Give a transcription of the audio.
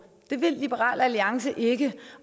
det vil liberal alliance ikke